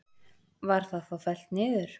Var það þá fellt niður